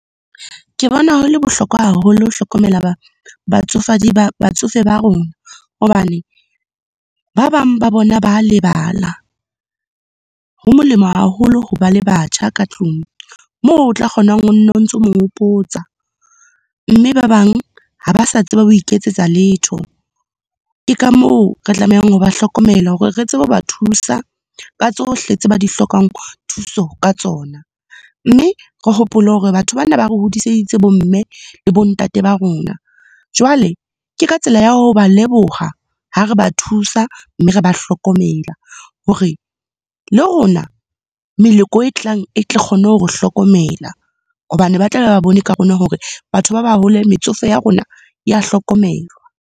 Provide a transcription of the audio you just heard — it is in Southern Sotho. Ke bona ho le bohlokwa haholo ho hlokomela ba batsofe ba rona. Hobane, ba bang ba bona ba lebala. Ho molemo haholo ho ba le batjha ka tlung, moo o tla kgona ho nno o ntse o mo hopotsa, mme ba bang ha ba sa tseba ho iketsetsa letho. Ke ka moo re tlamehang ho ba hlokomela hore re tsebe ho ba thusa ka tsohle tse ba di hlokang, thuso ka tsona. Mme re hopole hore batho bana ba re hodiseditse bomme le bontate ba rona. Jwale, ke ka tsela ya ho ba leboha ha re ba thusa mme re ba hlokomela hore, le rona meloko e tlang e tle kgone ho re hlokomela. Hobane ba tlabe ba bone ka rona hore batho ba baholo, metsofe ya rona ya hlokomelwa.